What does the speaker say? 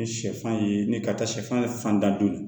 Ni sɛfan ye ni ka taa sɛfan fan da joli